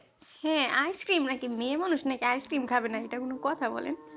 হ্যাঁ ice cream নাকি মেয়ে মানুষ নাকি ice cream খাবে না এটা, এটা কোন কথা বলেন